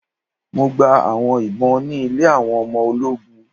Mo gba awọn ìbọn ni ilẹ̀ awọn ọmọ oló̩gùn